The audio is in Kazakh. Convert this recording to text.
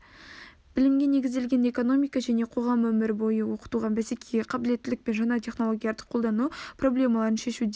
білімге негізделген экономика және қоғам өмір бойы оқыту бәсекеге қабілеттілік пен жаңа технологияларды қолдану проблемаларын шешудің